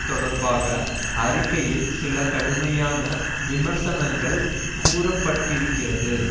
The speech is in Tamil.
தொடர்பாக அறிக்கையில் சில கடுமையான விமர்சனங்கள் கூற பட்டிருக்கிறது